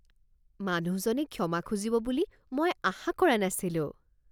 মানুহজনে ক্ষমা খুজিব বুলি মই আশা কৰা নাছিলোঁ